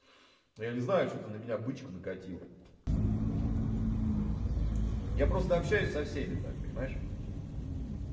ну я не знаю что ты на меня бычку накатила я просто общаюсь со всеми так понимаешь